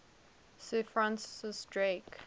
sir francis drake